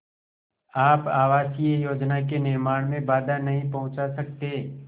आप आवासीय योजना के निर्माण में बाधा नहीं पहुँचा सकते